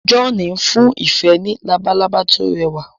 John n fún ìfẹ ní Labalábá to rẹwà